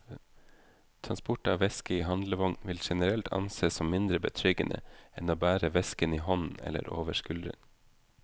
Transport av veske i handlevogn vil generelt ansees som mindre betryggende enn å bære vesken i hånden eller over skulderen.